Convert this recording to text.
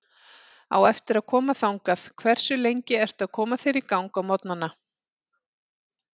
Á eftir að koma þangað Hversu lengi ertu að koma þér í gang á morgnanna?